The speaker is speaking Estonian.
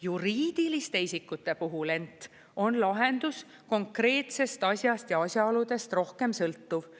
Juriidiliste isikute puhul ent on lahendus konkreetsest asjast ja asjaoludest rohkem sõltuv.